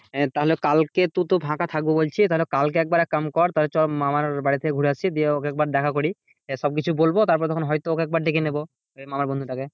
হ্যাঁ তাহলে কালকে তু তো ফাঁকা থাকবো বলছিস তাহলে একবার এক কাম কর তাহলে চো মামার বাড়ি থেকে ঘুরে আসি দিয়ে ওকে একবার দেখা করি সব কিছু বলবো তারপর হয়তো ওকে একবার ডেকে নেবো মামার বন্ধুটাকে,